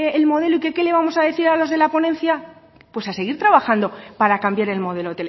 el modelo y que qué le vamos a decir a los de la ponencia pues a seguir trabajando para cambiar el modelo